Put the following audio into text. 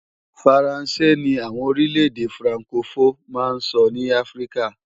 Faransé ni àwọn orílẹ̀-èdè frankofó máa ń sọ ní Áfríkà